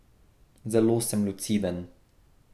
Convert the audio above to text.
Zelo sem luciden.